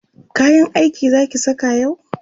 kayan aiki Zaki saka yau?